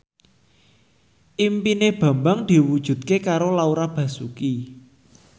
impine Bambang diwujudke karo Laura Basuki